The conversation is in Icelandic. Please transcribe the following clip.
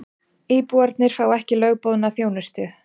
Íbúarnir fá ekki lögboðna þjónustu